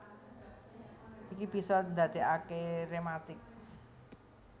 Iki bisa ndadékaké rématik